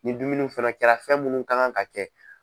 Nin dumuni fana kɛra fɛn minnu ka kan ka kɛ.